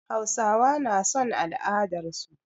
Hausawa na son al'adarsu.